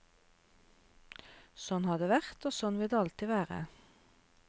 Sånn har det vært og sånn vil det alltid være.